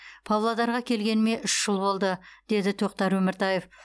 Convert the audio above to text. павлодарға келгеніме үш жыл болды деді тоқтар өміртаев